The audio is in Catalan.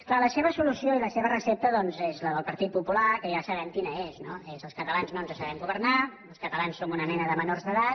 clar la seva solució i la seva recepta doncs són les del partit popular que ja sabem quines són no són els catalans no ens sabem governar els catalans som una mena de menors d’edat